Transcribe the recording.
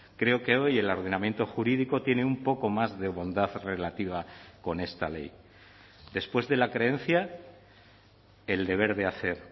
creo que hoy el ordenamiento jurídico tiene un poco más de bondad relativa con esta ley después de la creencia el deber de hacer